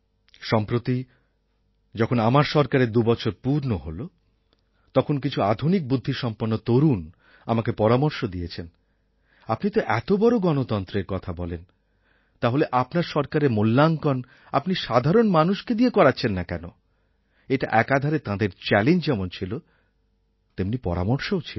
সম্প্রতি যখন আমার সরকারের দুবছর পূর্ণ হল তখন কিছু আধুনিক বুদ্ধিসম্পন্ন তরুণ আমাকে পরামর্শ দিয়েছেন আপনি তো এতবড় গণতন্ত্রের কথা বলেন তাহলে আপনার সরকারের মূল্যাঙ্কণ আপনি সাধারণ মানুষেকে দিয়ে করাচ্ছেন না কেন এটা একাধারে তাঁদের চ্যালেঞ্জ যেমন ছিল তেমনি পরামর্শও ছিল